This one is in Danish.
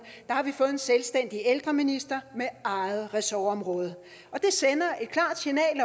har vi fået en selvstændig ældreminister med eget ressortområde